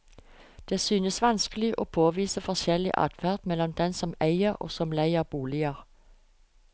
Det synes vanskelig å påvise forskjeller i adferd mellom dem som eier og dem som leier bolig.